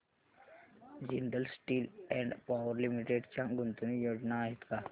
Jindal steel and power limited च्या गुंतवणूक योजना आहेत का